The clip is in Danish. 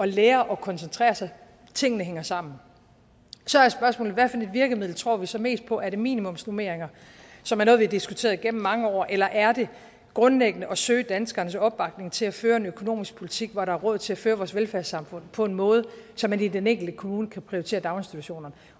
lære at koncentrere sig tingene hænger sammen så er spørgsmålet hvad for et virkemiddel tror vi så mest på er det minimumsnormeringer som er noget vi har diskuteret igennem mange år eller er det grundlæggende at søge danskernes opbakning til at føre en økonomisk politik hvor der er råd til at føre vores velfærdssamfund på en måde så man i den enkelte kommune kan prioritere daginstitutioner